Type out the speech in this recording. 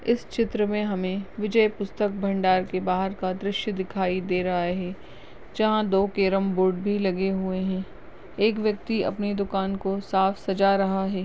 इस चित्र में हमे विजय पुस्तक भंडार के बाहर का दृश्य दिखाई दे रहा है जहाँ दो केरम बोर्ड भी लगे हुए हैं एक व्यक्ति अपनी दुकान को साफ सजा रहा है।